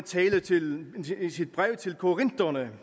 brev til korinterne